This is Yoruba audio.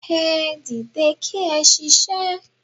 Ẹ dìde kí ẹ ṣiṣẹ́